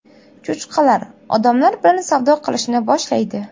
Cho‘chqalar odamlar bilan savdo qilishni boshlaydi.